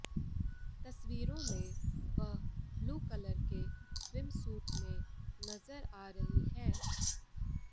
तस्वीरों में वह ब्लू कलर के स्विमसूट में नजर आ रही हैं